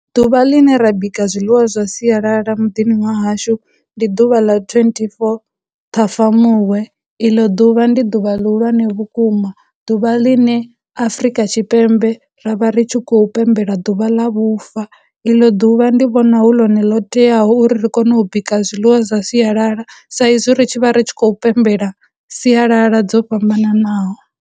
Ḓuvha ḽine ra bika zwiḽiwa zwa sialala muḓini wa hashu ndi ḓuvha ḽa twenty-four Ṱhafamuhwe, iḽo ḓuvha ndi ḓuvha lihulwane vhukuma, ḓuvha ḽine Afurika Tshipembe ra vha ri tshi khou pembela ḓuvha ḽa vhufa, iḽo ḓuvha ndi vhona hu ḽone ḽo teaho uri ri kone u bika zwiḽiwa zwa sialala sa izwi ri tshi vha ri tshi khou pembela sialala dzo fhambananaho.